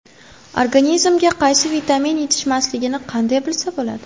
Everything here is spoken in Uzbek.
Organizmga qaysi vitamin yetishmasligini qanday bilsa bo‘ladi?.